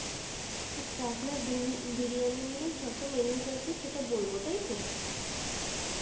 আচ্ছা আপনার বিনি~বিরিয়ানি নিয়ে যত menus আছে সেটা বলবো তাই তো?